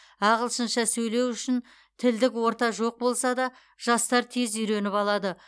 ағылшынша сөйлеу үшін тілдік орта жоқ болса да жастар тез үйреніп алады